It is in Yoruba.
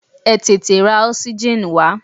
Ẹ tètè ra oxygen wá!